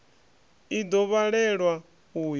i ḓo vhalelwa u ya